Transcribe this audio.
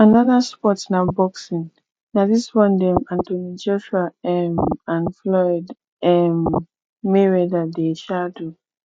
another sports na boxing na this one dem anothony joshua um and floyd um mayweather dey um do